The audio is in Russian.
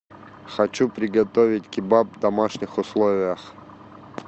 хочу приготовить кебаб в домашних условиях